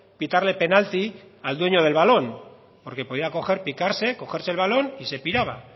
pitarle penalti al dueño del balón porque podía coger picarse cogerse el balón y se piraba